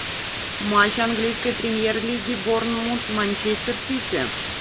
матч английской премьер лиги борнмут манчестер сити